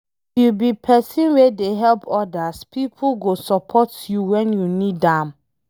If you be pesin wey dey help odas, pipo go support you wen you need am